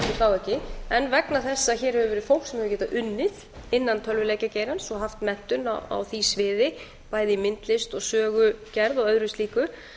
þá ekki en vegna þess að hér hefur verið fólk sem hefur getað unnið innan tölvuleikjageirans og haft menntun á því sviði bæði í myndlist og sögugerð og öðru slíku